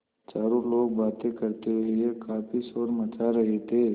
चारों लोग बातें करते हुए काफ़ी शोर मचा रहे थे